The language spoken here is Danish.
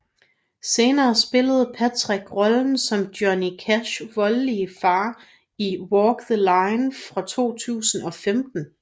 Senere spillede Patrick rollen som Johnny Cashs voldelige far i Walk the Line fra 2005